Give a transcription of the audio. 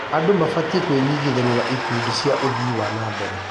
Andũ mabatiĩ kwĩnyitithania na ikundi cia ũthii wa na mbere.